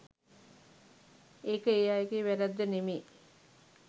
ඒක ඒ අයගේ වැරැද්ද නෙමේ.